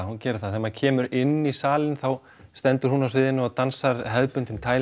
hún gerir það þegar maður kemur inn í salinn þá stendur hún á sviðinu og dansar hefðbundinn